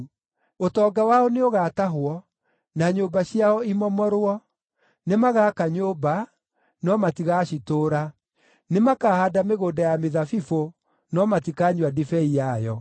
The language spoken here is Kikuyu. Ũtonga wao nĩũgatahwo, na nyũmba ciao imomorwo. Nĩmagaka nyũmba, no matigacitũũra; nĩmakahaanda mĩgũnda ya mĩthabibũ, no matikanyua ndibei yayo.